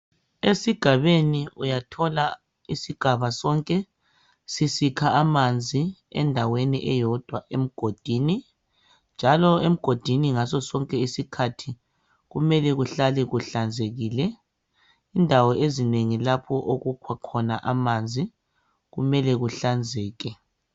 Esigabeni uyathola isigaba sonke sisikha amanzi endaweni eyodwa, emgodii, njalo emgodini ngaso sonke isikhathi kumele kuhlale kuhlanzekile. Indawo ezinengi kapho okukhiwa khona amanzi kumele kuhlanzeke.